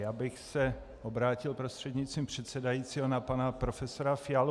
Já bych se obrátil prostřednictvím předsedajícího na pana profesora Fialu.